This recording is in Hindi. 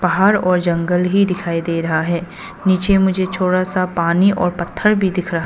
पहाड़ और जंगल ही दिखाई दे रहा है नीचे मुझे थोड़ा सा पानी और पत्थर भी दिख रहा--